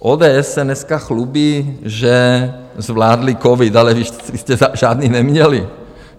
ODS se dneska chlubí, že zvládli covid, ale vy jste žádný neměli.